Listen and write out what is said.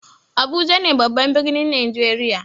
Abuja ne babban birnin najeriya.